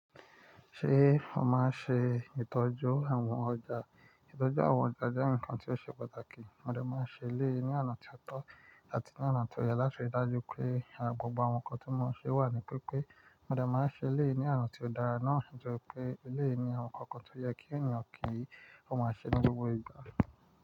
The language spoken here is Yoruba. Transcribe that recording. Ṣé o máa ń ṣe ìtọ́jú àwọn ọjà? Ìtọ́jú àwọn ọjà jẹ́ ǹkan tí ó ṣe pàtàkì, mo dà máa ń ṣe ilé ní àná tí ó tọ́ àti ní àná tí ó yẹ láti rí i dájú pé àrà gbogbo àwọn ǹkan tí mo ń ṣe wà ní pípé. Mo dà máa ń ṣe ilé ní àná tí ó dára náà sì jẹ́ pé ilé ní àwọn ǹkan kan tó yẹ kí ènìyàn kì í máa ṣe ní gbogbo ìgbà.